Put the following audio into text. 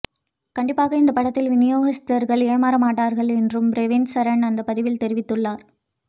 கண்டிப்பாக இந்த படத்தில் வினயோகிஸ்தர்கள் ஏமாற மாட்டார்கள் என்றும் ரேவந்த் சரண் அந்த பதிவில் தெரிவித்துள்ளார்